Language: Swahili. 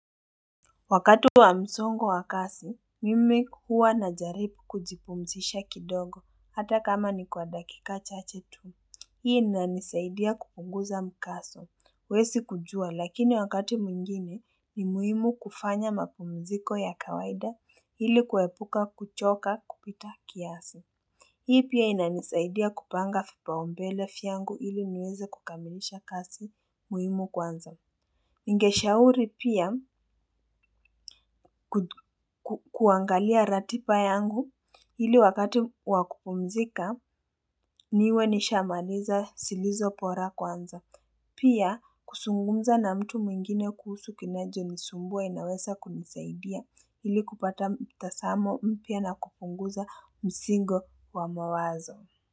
Wakati wa msongo wa kasi, mimi huwa najaripu kujipumzisha kidogo, hata kama ni kwa dakika chache tu. Hii inanisaidia kupunguza mkaso, huwesi kujua, lakini wakati mwengine ni muhimu kufanya mapumziko ya kawaida ili kuepuka kuchoka kupita kiasi. Hii pia inanisaidia kupanga fipaumbele fyangu ili niweze kukamilisha kasi muhimu kwanza. Ningeshauri pia kuangalia ratipa yangu ili wakati wa kupumzika niwe nishamaliza silizo pora kwanza. Pia kusungumza na mtu mwingine kuhusu kinajonisumbua inawesa kunisaidia ili kupata mtasamo mpya na kupunguza msingo wa mawazo.